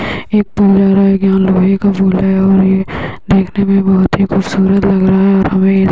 एक पुल आ रहा है यहाँ लोहे का पुल है और यह देखने में बहुत ही खूबसूरत लग रहा है और हमें ये --